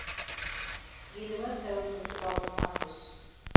еліміз тәуелсіздік алып жатқан тұс